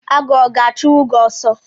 Agụ ọ ga-achụnwu gị oso